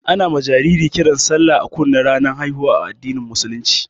Ana ma jariri kiran sallah a kunne ranar haihuwa a addinin musulunci